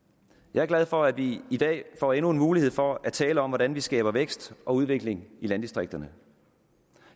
jeg er glad for at vi i dag får endnu en mulighed for at tale om hvordan vi skaber vækst og udvikling i landdistrikterne